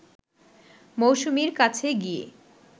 মৌসুমীর কাছে গিয়ে